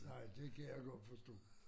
Nej det kan jeg godt forstå